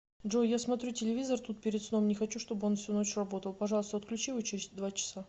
джой я смотрю телевизор тут перед сном не хочу чтобы он всю ночь работал пожалуйста отключи его через два часа